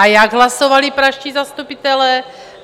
A jak hlasovali pražští zastupitelé?